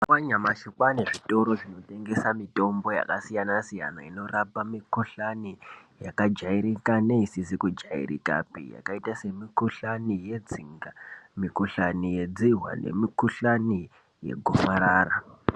Mazuwa anyamashi kwaane zvitoro zvinotengesa mitombo yakasiyana-siyana inorapa mikhuhlani yakajairika neisizi kujairikapi, yakaita semikhuhlani yetsinga, nemikhuhlani yedzihwa nemikhuhlani yekufarara.